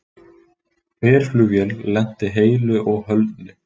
Herflugvél lenti heilu og höldnu